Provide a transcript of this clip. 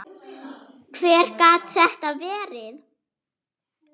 Hver gat þetta verið?